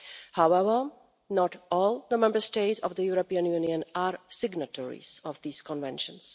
However, not all the Member States of the European Union are signatories of these conventions.